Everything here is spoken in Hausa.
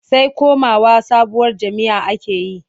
Sai komawa sabuwar jam'iyya ake yi.